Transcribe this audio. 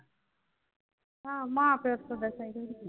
ਹਾਂ ਮਾਂ ਪਯੋ ਤਾ ਬਸ ਏਹੀ ਚਾਂਦੇ ਹੈ